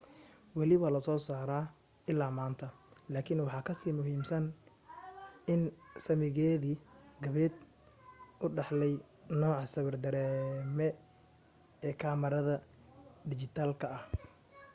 wali waa la soo saaraa ilaa maanta laakin waxa kasii muhiimsan in saamigeedii qaabeed uu dhaxlay nooca sawir dareeme ee kamarada dhijitaalka ah